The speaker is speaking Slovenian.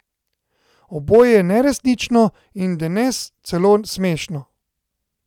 Oboje je neresnično, in denes celo smešno.